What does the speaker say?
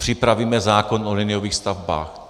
Připravíme zákon o liniových stavbách.